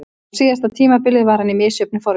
Á síðasta tímabili var hann í misjöfnu formi.